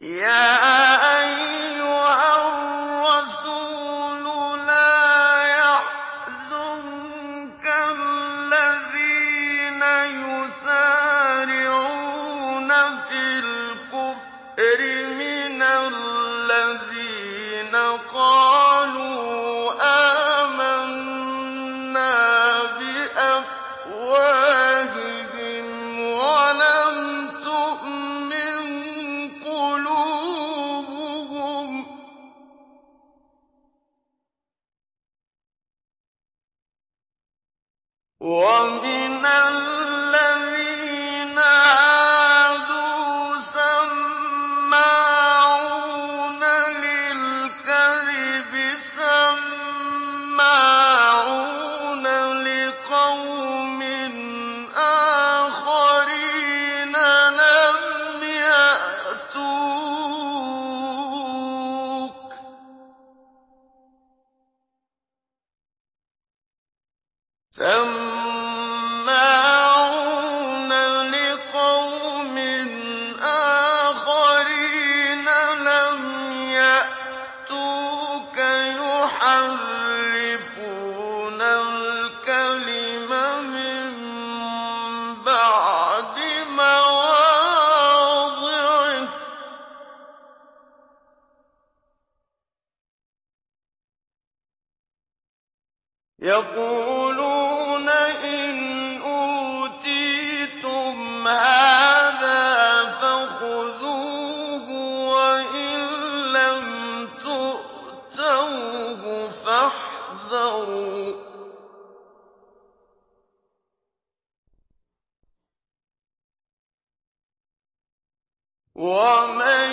۞ يَا أَيُّهَا الرَّسُولُ لَا يَحْزُنكَ الَّذِينَ يُسَارِعُونَ فِي الْكُفْرِ مِنَ الَّذِينَ قَالُوا آمَنَّا بِأَفْوَاهِهِمْ وَلَمْ تُؤْمِن قُلُوبُهُمْ ۛ وَمِنَ الَّذِينَ هَادُوا ۛ سَمَّاعُونَ لِلْكَذِبِ سَمَّاعُونَ لِقَوْمٍ آخَرِينَ لَمْ يَأْتُوكَ ۖ يُحَرِّفُونَ الْكَلِمَ مِن بَعْدِ مَوَاضِعِهِ ۖ يَقُولُونَ إِنْ أُوتِيتُمْ هَٰذَا فَخُذُوهُ وَإِن لَّمْ تُؤْتَوْهُ فَاحْذَرُوا ۚ وَمَن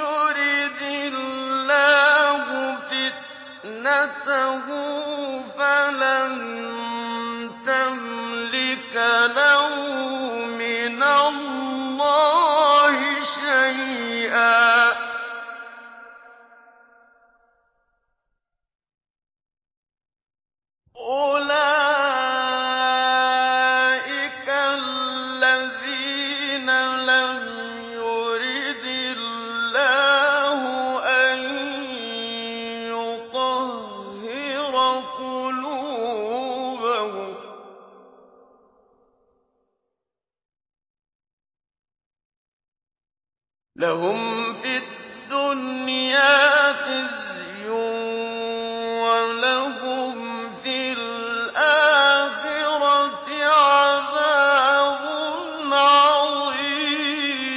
يُرِدِ اللَّهُ فِتْنَتَهُ فَلَن تَمْلِكَ لَهُ مِنَ اللَّهِ شَيْئًا ۚ أُولَٰئِكَ الَّذِينَ لَمْ يُرِدِ اللَّهُ أَن يُطَهِّرَ قُلُوبَهُمْ ۚ لَهُمْ فِي الدُّنْيَا خِزْيٌ ۖ وَلَهُمْ فِي الْآخِرَةِ عَذَابٌ عَظِيمٌ